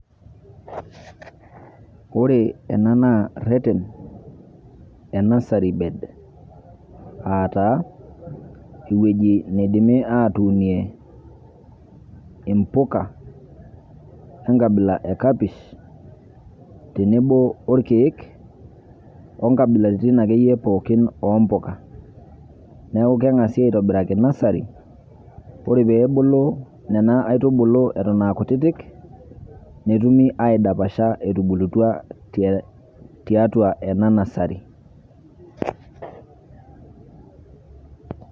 ore ena naa ereten e nursery bed. aata ewueji neidimi aatunie empuka. enkabila ekapish, tenebo orkeek onkabilaritin akeyie pookin oompuka. neeku kengasi aitobiraki nursery ore pee ebulu nena aitubulu, eton aakutitik, netumi aidapasha, tiatua ena nursery.